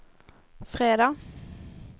fredag